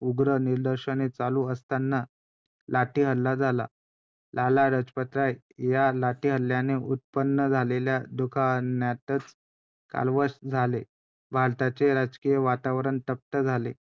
आणि मग आपल्या दुसर्‍या पत्त्नीला पहिली पत्नी तर त्यांची तिने Off झालेली किंवा पहिली पत्नी त्यांची मृत्यू मृत्यू झालेला त्यांचा आणि दुसरी पत्नी ती रमाबाई महा महादेव रानडे~